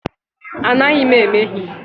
Anaghị m emehie.